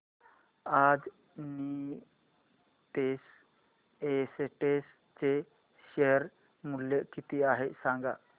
आज नीतेश एस्टेट्स चे शेअर मूल्य किती आहे सांगा